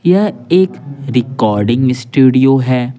यह एक recording studio है।